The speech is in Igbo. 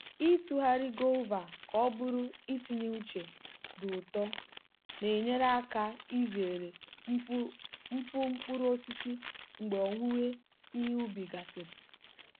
ịtụgharị guava ka ọ bụrụ itinye uche dị ụtọ na-enyere aka izere mfu mkpụrụ osisi mgbe owuwe ihe ubi gasịrị.